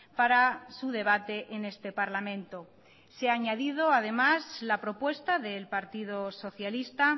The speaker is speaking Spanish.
para su debate en este parlamento se ha añadido además la propuesta del partido socialista